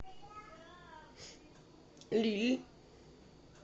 лилль